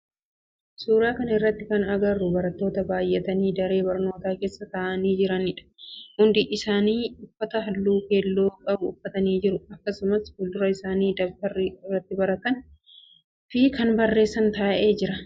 Suuraa kana irratti kana agarru barattoota bayyatanii daree barnootaa keessa ta'aani jiranidha. Hundi isaanii uffata halluu keelloo qabu uffatanii jiru. Akkasumaas fuldura isaanii dabtarri irratti baratan fi barreessan taa'ee jira.